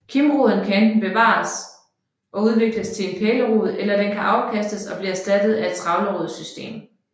Kimroden kan enten bevares og udvikles til en pælerod eller den kan afkastes og blive erstattet af et trævlerodssystem